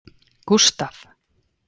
Gustav